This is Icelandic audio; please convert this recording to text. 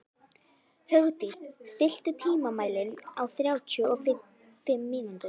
Hugdís, stilltu tímamælinn á þrjátíu og fimm mínútur.